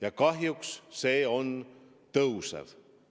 Ja kahjuks see näitaja tõuseb.